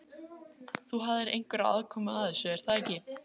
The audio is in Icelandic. Elín: Þú hafðir einhverja aðkomu að þessu, er það ekki?